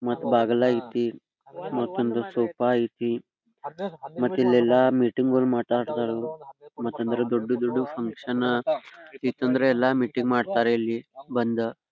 ಮತ್ ಬಾಗಲೈತಿ ಮತ್ತೊಂದು ಸೋಫಾ ಐತಿ ಮತ್ತಿಲ್ಲೆಲ್ಲಾ ಮೀಟಿಂಗ್ ಗಳು ಮಾಟಾಡ್ತಾರೂ ಮತ್ತಂದ್ರ ದೊಡ್ಡು ದೊಡ್ಡು ಫಕ್ಷನಾ ಇತ್ತಂದ್ರೆ ಎಲ್ಲಾ ಮೀಟಿಂಗ್ ಮಾಡತ್ತಾರೆ ಇಲ್ಲಿ ಬಂದು.